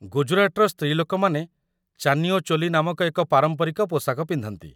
ଗୁଜରାଟର ସ୍ତ୍ରୀଲୋକମାନେ ଚାନିୟୋ ଚୋଲି ନାମକ ଏକ ପାରମ୍ପରିକ ପୋଷାକ ପିନ୍ଧନ୍ତି